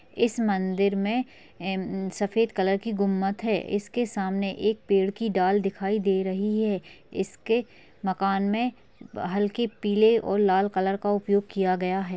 इस मंदिर में सफेद कलर की गुंबद है इसके सामने एक पेड़ की डाल दिखाई दे रही है इसके मकान में हल्के पीले और लाल कलर का उपयोग किया गया है।